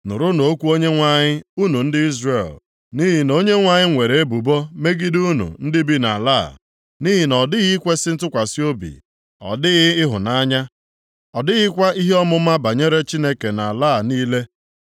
Nụrụnụ okwu Onyenwe anyị unu ndị Izrel, nʼihi na Onyenwe anyị nwere ebubo + 4:1 Maọbụ, Onyenwe anyị akpọọla unu ikpe megide unu ndị bi nʼala a. “Nʼihi na ọ dịghị ikwesi ntụkwasị obi, ọ dịghị ịhụnanya, ọ dịghịkwa ihe ọmụma banyere Chineke nʼala a niile. + 4:1 Ịma ihe banyere Chineke adịghị nʼuche unu